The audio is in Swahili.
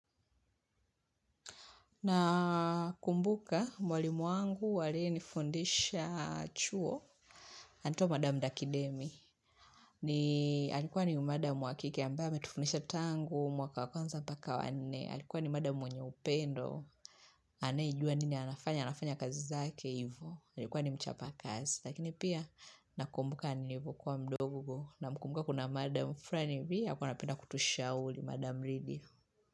Nakumbuka mwalimu wangu aliyenifundisha chuo. Anaitwa madam Dakidemi. Alikuwa ni madam wa kike ambaye ametufundisha tangu, mwaka wa kwanza mpaka wa nne. Alikuwa ni madamu mwenye upendo. Anayejua nini anafanya, anafanya kazi zake hivyo. Alikuwa ni mchapa kazi. Lakini pia nakumbuka nilivyokuwa mdogo Namkumbuka kuna madamu fulani pia alikuwa anapenda kutushauri madam Lidia.